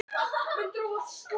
Sko kerfið.